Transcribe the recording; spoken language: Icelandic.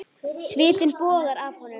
Svitinn bogar af honum.